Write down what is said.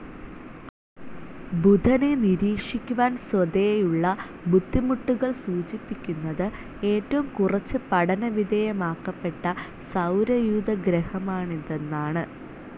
ബുധനെ നിരീക്ഷിക്കുവാൻ സ്വതേയുള്ള ബുദ്ധിമുട്ടുകൾ സൂചിപ്പിക്കുന്നത് ഏറ്റവും കുറച്ച് പഠനവിധേയമാക്കപ്പെട്ട സൗരയൂഥഗ്രഹമാണിതെന്നാണ്.